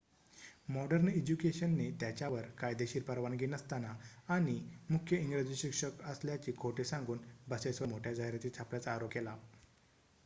modern इज्युकेशनने त्याच्यावर कायदेशीर परवानगी नसताना आणि मुख्य इंग्रजी शिक्षक असल्याचे खोटे सांगून बसेसवर मोठ्या जाहिराती छापल्याचा आरोप केला